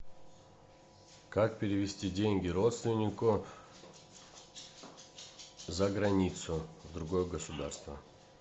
как перевести деньги родственнику за границу в другое государство